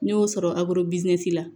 N'i y'o sɔrɔ la